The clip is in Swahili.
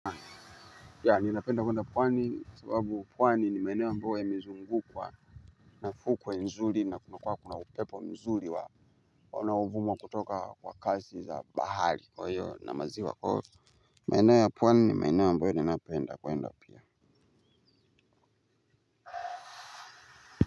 Ya ninapenda kwenda pwani sababu pwani nimaeneo ambayo yamizungu kwa nafukuwe nzuli na kuna kuna upepo nzuli wa onaovuma kutoka kwa kasi za bahali kwa hiyo na maziwa kwa hiyo. Maeneo ya pwani ni maeneo ambayo ninapenda kwenda pia.